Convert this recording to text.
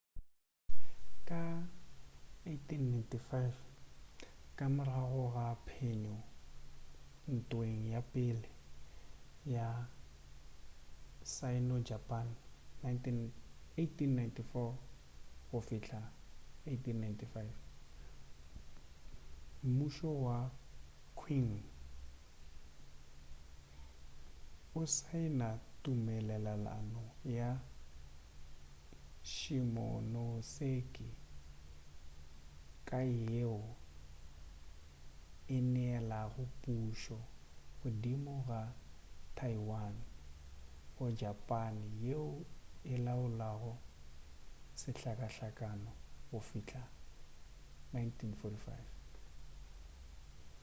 ka 1895 ka morago ga phenyo ntweng ya pele ya sino-japane 1894-1895 mmušo wa qing o saena tumelelano ya shimonoseki ka yeo e neelago pušo godimo ga taiwan go japane yeo e laolago sehlakahlaka go fihla ka 1945